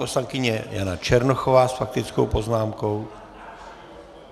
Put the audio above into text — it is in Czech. Poslankyně Jana Černochová s faktickou poznámkou.